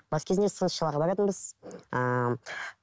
бас кезінде сынықшыларға баратынбыз ыыы